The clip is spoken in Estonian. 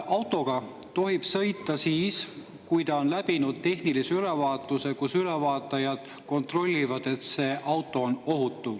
Autoga tohib sõita siis, kui see on läbinud tehnilise ülevaatuse, kus ülevaatajad kontrollivad, kas auto on ohutu.